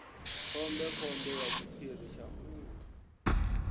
khombekhombe ya tshiphiri tsha muthu